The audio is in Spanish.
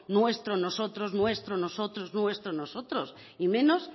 nuestro nosotros nuestro nosotros nuestro nosotros y menos